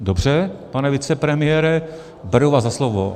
Dobře, pane vicepremiére, beru vás za slovo.